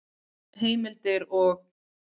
Heimildir og